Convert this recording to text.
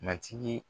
Matigi